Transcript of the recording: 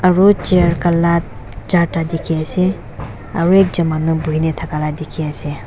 aru chair kaala charta dikhi ase aru ek jon maanu bohina thaka la dekhi ase.